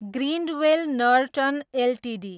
Grindwell Norton Ltd